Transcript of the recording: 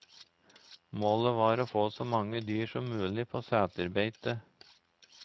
Målet var å få så mange dyr som mulig på seterbeite.